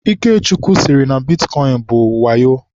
Ikechukwu sịrị na bitkọịn bụ wayo.